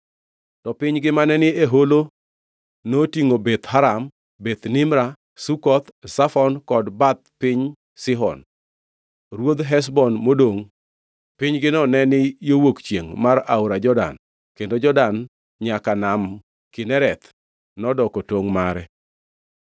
to pinygi mane ni e holo notingʼo Beth Haram, Beth Nimra, Sukoth, Zafon kod bath piny Sihon ruodh Heshbon modongʼ (pinygino neni yo wuok chiengʼ mar aora Jordan kendo Jordan nyaka Nam Kinereth nodoko tongʼ mare).